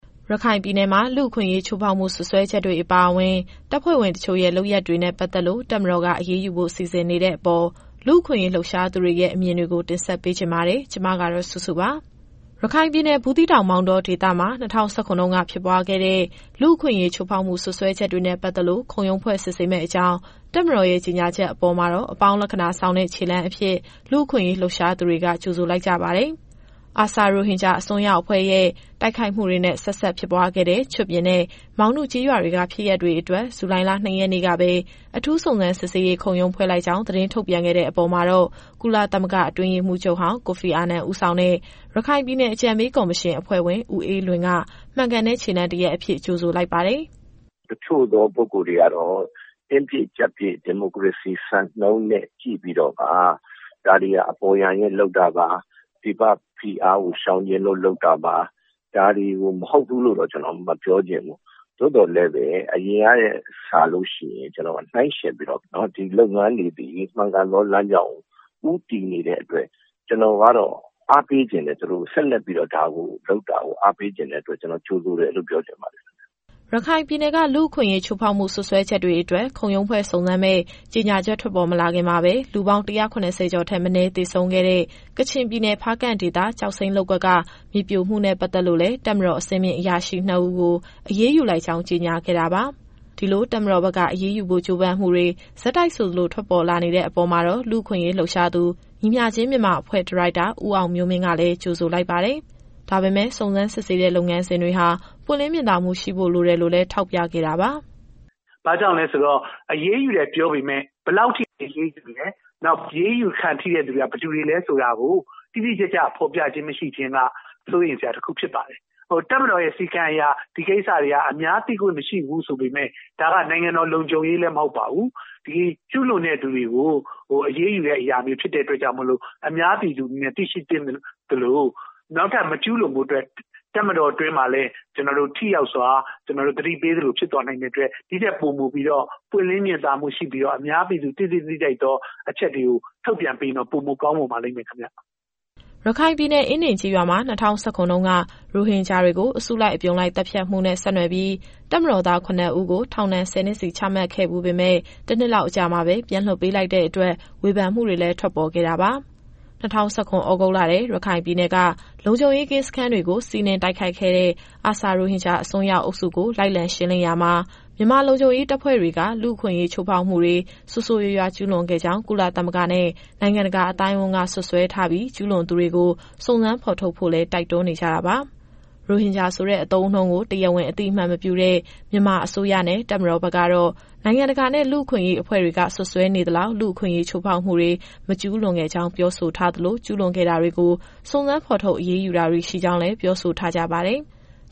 ရခိုင်ပြည်နယ်မှာ လူ့အခွင့်အရေးချိုးဖောက်မှု စွပ်စွဲချက်တွေအပါအဝင် တပ်ဖွဲ့ဝင်တချို့ရဲ့ လုပ်ရပ်တွေနဲ့ ပတ်သက်လို့ တပ်မတော်က အရေးယူဖို့ စီစဉ်နေတဲ့အပေါ် လူ့အခွင့်အရေး လှုပ်ရှားသူတွေရဲ့ အမြင်တွေကို ဗွီအိုအေမြန်မာပိုင်း သတင်းထောက်စုစုက တင်ဆက်ပေးမှာပါ။ ရခိုင်ပြည်နယ်၊ ဘူးသီးတောင်၊ မောင်တောဒေသမှာ ၂၀၁၇ တုန်းက ဖြစ်ပွားခဲ့တဲ့ လူ့အခွင့်အရေး ချိုးဖောက်မှု စွပ်စွဲချက်တွေနဲ့ ပတ်သက်လို့ ခုံရုံးဖွဲ့ စစ်ဆေးမယ့်အကြောင်း တပ်မတော်ရဲ့ ကြေညာချက်အပေါ်မှာတော့ အပေါင်းလက္ခဏာဆောင်တဲ့ ခြေလှမ်းအဖြစ် လူ့အခွင့်အရေး လှုပ်ရှားသူတွေက ကြိုဆိုလိုက်ကြပါတယ်။ ARSA ရိုဟင်ဂျာအစွန်းရောက်အဖွဲ့ရဲ့ တိုက်ခိုက်မှုတွေနဲ့ ဆက်စပ်ဖြစ်ပွားခဲ့တဲ့ ချွတ်ပြင်နဲ့ မောင်နုကျေးရွာတွေက ဖြစ်ရပ်တွေအတွက် ဇူလိုင်လ ၂ ရက်နေ့ကပဲ အထူးစုံစမ်းစစ်ဆေးရေး ခုံရုံးဖွဲ့လိုက်ကြောင်း သတင်းထုတ်ပြန်ခဲ့တဲ့ အပေါ်မှာတော့ ကုလသမဂ္ဂ အတွင်းရေးမှူးချုပ်ဟောင်း ကိုဖီအာနန် ဦးဆောင်တဲ့ ရခိုင်ပြည်နယ်အကြံပေးကော်မရှင် အဖွဲ့ဝင် ဦးအေးလွင်က မှန်ကန်တဲ့ ခြေလှမ်းတရပ်အဖြစ် ကြိုဆိုလိုက်ပါတယ်။ “တချို့သောပုဂ္ဂိုလ်တွေကတော့ တင်းပြည့်ကျပ်ပြည့် ဒီမိုကရေစီစံနှုန်းနဲ့ ကြည့်ပြီးတော့ ဒါတွေဟာ အပေါ်ယံလုပ်တာပါ၊ ပြည်ပဖိအားကိုရှောင်ချင်လို့ လုပ်တာပါ။ ဒါတွေကိုမဟုတ်ဘူးလို့တော့ မပြောချင်ဘူး။ သို့သော်လည်းပဲ အရင်ကထက်စာရင် ကျနော်နှိုင်းယှဉ်ပြီးတော့ ဒီလုပ်ငန်းတွေသည် မှန်ကန်သောလမ်းကြောင်းကို ဦးတည်နေတဲ့အတွက် ကျနော်ကတော့ အားပေးချင်တယ် သူတို့ကို။ ဆက်လက်ပြီးတော့ ဒါကိုလုပ်တာကို အားပေးချင်တဲ့အတွက် ကျနော်ကြိုဆိုတယ်လို့ ပြောချင်ပါတယ်။” ရခိုင်ပြည်နယ်က လူ့အခွင့်ရေး ချိုးဖောက်မှု စွပ်စွဲချက်တွေအတွက် ခုံရုံးဖွဲ့စုံစမ်းမယ့် ကြေညာချက် ထွက်ပေါ်မလာခင်မှာပဲ လူပေါင်း ၁၇၀ ကျောက်ထက်မနည်း သေဆုံးခဲ့တဲ့ ကချင်ပြည်နယ် ဖားကန့်ဒေသ ကျောက်စိမ်းလုပ်ကွက်က မြေပြိုမှုနဲ့ ပတ်သက်လို့လည်း တပ်မတော် အဆင့်မြင့် အရာရှိ ၂ ဦးကို အရေးယူလိုက်ကြောင်း ကြေညာခဲ့တာပါ။ ဒီလို တပ်မတော်ဘက်က အရေးယူဖို့ ကြိုးပမ်းမှုတွေ ဆက်တိုက်ဆိုသလို ထွက်ပေါ်လာနေတဲ့ အပေါ်မှာတော့ လူ့အခွင့်အရေးလှုပ်ရှားသူ ညီမျှခြင်းမြန်မာအဖွဲ့ ဒါရိုက်တာ ဦးအောင်မျိုးမင်းကလည်း ကြိုဆိုလိုက်ပါတယ်။ ဒါပေမဲ့လည်း စုံစမ်းစစ်ဆေးတဲ့ လုပ်ငန်းစဉ်တွေဟာ ပွင့်လင်းမြင်သာမှု ရှိဖို့လိုတယ်လို့လည်း ထောက်ပြခဲ့တာပါ။ “ဘာကြောင့်လဲဆိုတော့ အရေးယူတယ်ပြောပေမဲ့ ဘယ်လောက်ထိအရေးယူနေလဲ။ နောက် အရေးယူခံထိတဲ့သူတွေက ဘယ်သူတွေလည်းဆိုတာကို တိတိကျကျ ဖော်ပြခြင်းမရှိခြင်းက စိုးရိမ်စရာတခုဖြစ်ပါတယ်။ တပ်မတော်ရဲ့ စည်းကမ်းအရ ဒီကိစ္စတွေက အများသိခွင့်မရှိဘူးဆိုပေမယ့် ဒါကနိုင်ငံတော်လုံခြုံရေးလည်း မဟုတ်ပါဘူး။ ဒီကျူးလွန်တဲ့သူတွေကို အရေးယူတဲ့အရာမျိုး ဖြစ်တဲ့အတွက်ကြောင့် အများပြည်သူ သိရှိသင့်သလို နောက်ထပ်မကျူးလွန်ဖို့အတွက် တပ်မတော်အတွင်းမှာလည်း ထိရောက်စွာ သတိပေးသလို ဖြစ်သွားနိုင်တဲ့အတွက် ဒီထက်ပိုပြီးတော့ ပွင့်လင်းမြင်သာမှုရှိပြီးတော့ အများပြည်သူ သိသင့်သိထိုက်သောအချက်တွေကို ထုတ်ပြန်ပေးရင်တော့ ပိုမိုကောင်းပါလိမ့်မယ်ခင်ဗျ။” ရခိုင်ပြည်နယ် အင်းဒင်ကျေးရွာမှာ ၂၀၁၇ တုန်းက ရိုဟင်ဂျာတွေကို အစုလိုက်အပြုံလိုက် သတ်ဖြတ်မှုနဲ့ ဆက်နွယ်ပြီး တပ်မတော်သား ၇ ဦးကို ထောင်ဒဏ် ၁၀ နှစ်စီ ချမှတ်ခဲ့ဖူးပေမဲ့ တနှစ်လောက်အကြာမှာပဲ ပြန်လွှတ်ပေးလိုက်တဲ့အတွက် ဝေဖန်မှုတွေလည်း ထွက်ပေါ်ခဲ့တာပါ။ ၂၀၁၇ သြဂုတ်လထဲ ရခိုင်ပြည်နယ်က လုံခြုံရေးကင်းစခန်းတွေကို စီးနင်းတိုက်ခိုက်ခဲ့တဲ့ ARSA ရိုဟင်ဂျာအစွန်းရောက်အုပ်စုကို လိုက်လံရှင်းလင်းရာမှာ မြန်မာလုံခြုံရေး တပ်ဖွဲ့တွေက လူ့အခွင့်အရေး ချိုးဖောက်မှုတွေ ဆိုးဆိုးရွားရွား ကျုးလွန်ခဲ့ကြောင်း ကုလသမဂ္ဂနဲ့ နိုင်ငံတကာ အသိုင်းအဝန်းက စွပ်စွဲထားပြီး၊ ကျုးလွန်သူတွေကို စုံစမ်းဖော်ထုတ်ဖို့လည်း တိုက်တွန်းနေကြတာပါ။ ရိုဟင်ဂျာဆိုတဲ့ အသုံးအနှုန်းကို တရားဝင် အသိအမှတ်မပြုတဲ့ မြန်မာအစိုးရနဲ့ တပ်မတော်ဘက်ကတော့ နိုင်ငံတကာနဲ့ လူ့အခွင့်အရေးအဖွဲ့တွေက စွပ်စွဲနေသလောက် လူ့အခွင့်အရေး ချိုးဖောက်မှုတွေ မကျုးလွန်ခဲ့ကြောင်း ပြောဆိုထားသလို၊ ကျုးလွန်ခဲ့တာတွေကို စုံစမ်းဖော်ထုတ် အရေးယူတာတွေ ရှိကြောင်းလည်း ပြောဆိုထားကြပါတယ်။